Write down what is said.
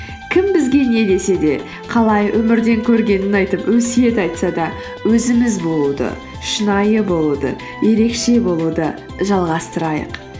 кім бізге не десе де қалай өмірден көргенін айтып өсиет айтса да өзіміз болуды шынайы болуды ерекше болуды жалғастырайық